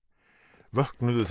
vöknuðu þá